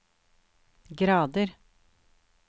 grader